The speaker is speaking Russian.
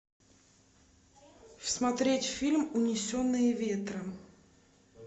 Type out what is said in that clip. смотреть фильм унесенные ветром